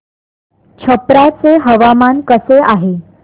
छप्रा चे हवामान कसे आहे